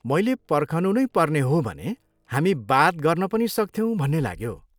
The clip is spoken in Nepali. मैले पर्खनु नै पर्ने हो भने हामी बात गर्न पनि सक्थ्यौँ भन्ने लाग्यो।